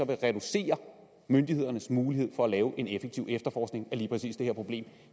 det reducere myndighedernes mulighed for at drive en effektiv efterforskning af lige præcis det her problem